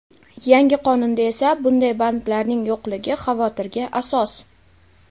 Yangi qonunda esa bunday bandlarning yo‘qligi xavotirga asos.